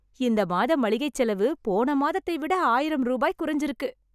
இந்த மாத மளிகைச் செலவு போன மாதத்தை விட ஆயிர ரூபாய் குறைச்சிருக்கு